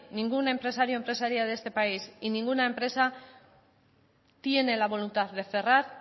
ningún empresario y empresaria de este país y ninguna empresa tiene la voluntad de cerrar